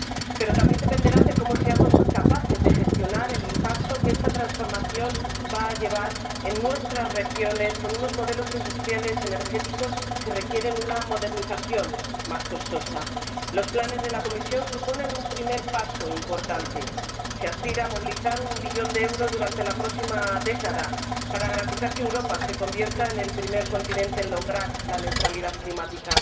Pero también dependerán de cómo seamos capaces de gestionar el impacto que esta transformación va a tener en nuestras regiones, con unos modelos industriales energéticos que requieren una modernización, más costosa. Los planes de la Comisión suponen un primer paso importante. Se aspira a movilizar un billón de euros durante la próxima década, para garantizar que Europa se convierta en el primer continente en lograr la neutralidad climática.